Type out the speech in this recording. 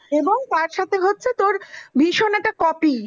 এবং তার সাথে হচ্ছে তোর ভীষণ একটা copy ।